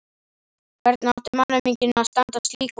Hvernig átti mannauminginn að standast slík vopn?